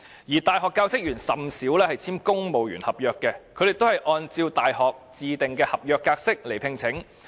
而大學教職員甚少按公務員合約聘請，而是按照大學自訂的合約來聘請。